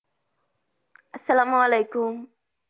আসসালাম ওয়ালিকুম।